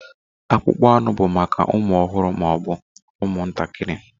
Akpụkpọ anụ bụ maka ụmụ ọhụrụ ma ọ bụ ụmụ ntakiri.